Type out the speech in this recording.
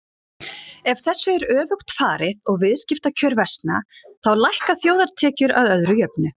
Ef þessu er öfugt farið og viðskiptakjör versna þá lækka þjóðartekjur að öðru jöfnu.